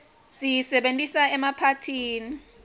siyisebentisa emaphathini